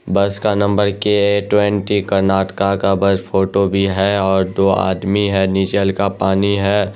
बस का नंबर के टवेंटी कर्नाटका का बस फोटो भी है और दो आदमी भी है। निशल का पानी है।